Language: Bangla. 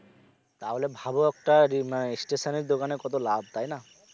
তাহলে ভাব একটা রিমা stationary দোকানে কত লাভ তাই না